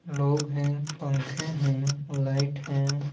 लोग हैं पंखे हैं लाइट हैं।